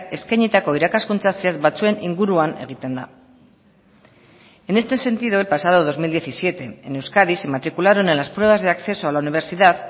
eskainitako irakaskuntza zehatz batzuen inguruan egiten da en este sentido el pasado dos mil diecisiete en euskadi se matricularon en las pruebas de acceso a la universidad